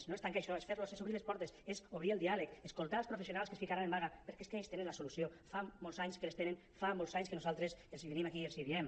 no és tancar això és obrir les portes és obrir el diàleg escoltar els professionals que es ficaran en vaga perquè és que ells tenen la solució fa molts anys que les tenen fa molts anys que nosaltres venim aquí i els hi diem